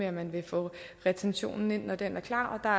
at man vil få retentionen ind når den er klar og